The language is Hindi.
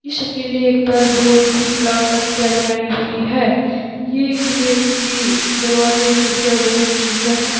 इस किले पर बहोत ही कलाकृतियां बनाई हुई है ये किले की दरवाजे खिड़कियां बहुत सुंदर है।